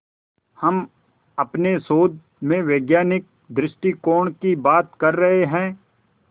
हम अपने शोध में वैज्ञानिक दृष्टिकोण की बात कर रहे हैं